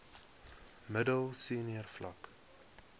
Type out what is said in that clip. middel senior vlak